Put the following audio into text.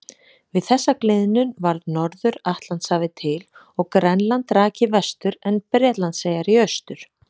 Við þessa gliðnun varð Norður-Atlantshafið til og Grænland rak í vestur en Bretlandseyjar í austur.